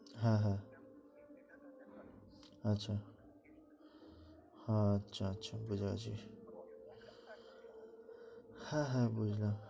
হ্যাঁ হ্যাঁ আচ্ছা আচ্ছা আচ্ছা ঠিক আছে হ্যাঁ হ্যাঁ হ্যাঁ